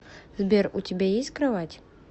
сбер у тебя есть кровать